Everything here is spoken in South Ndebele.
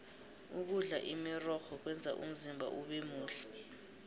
ukudla imirorho kwenza umzimba ubemuhle